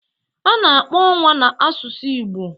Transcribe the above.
A na-akpọ Ọnwa 'na' n'asụsụ Igbo: